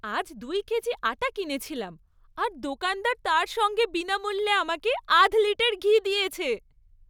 আজ দুই কেজি আটা কিনেছিলাম, আর দোকানদার তার সঙ্গে বিনামূল্যে আমাকে আধ লিটার ঘি দিয়েছে।